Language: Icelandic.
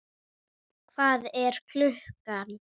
Hvað er klukkan?